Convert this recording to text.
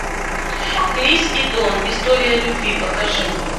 крис и дон история любви покажи